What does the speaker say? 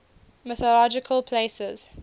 mythological places